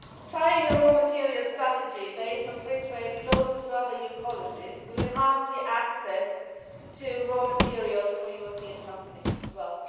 Tying a raw materials strategy based on free trade closer to other EU policies will enhance access to raw materials for European companies as well.